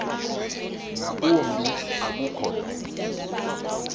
ngakumbi ukuba lo